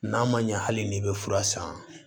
N'a ma ɲɛ hali n'i bɛ fura san